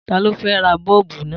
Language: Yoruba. Ta ló fẹ́ ra bọ́ọ̀bù náà?